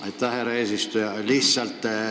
Aitäh, härra eesistuja!